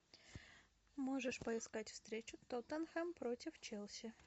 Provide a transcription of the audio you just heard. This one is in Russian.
можешь поискать встречу тоттенхэм против челси